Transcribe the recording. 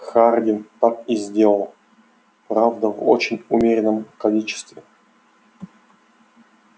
хардин так и сделал правда в очень умеренном количестве